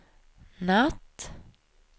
natt